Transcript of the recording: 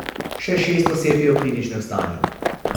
Še šest oseb je v kritičnem stanju.